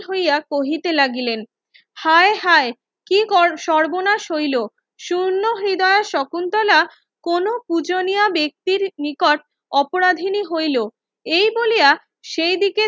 হইয়া কহিতে লাগিলেন হায় হায় কি সর্বনাশ হইলো সুর্ন্ন হৃদয়ে শকুন্তলা কোনো পূজানিয়ার বেক্তির নিকট অপরাধিনী হইলো এই বলিয়া সেইদিকে